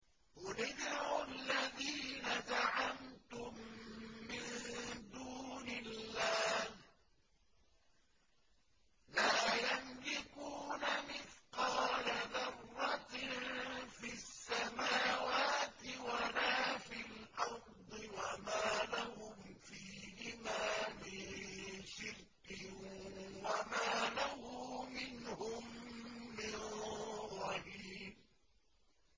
قُلِ ادْعُوا الَّذِينَ زَعَمْتُم مِّن دُونِ اللَّهِ ۖ لَا يَمْلِكُونَ مِثْقَالَ ذَرَّةٍ فِي السَّمَاوَاتِ وَلَا فِي الْأَرْضِ وَمَا لَهُمْ فِيهِمَا مِن شِرْكٍ وَمَا لَهُ مِنْهُم مِّن ظَهِيرٍ